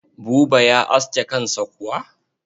Buba ya aske kansa kuwa?